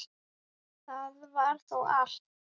Það var þá allt.